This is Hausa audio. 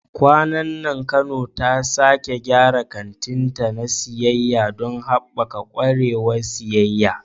Kwanan nan Kano ta sake gyara kantinta na siyayya don haɓaka ƙwarewar siyayya.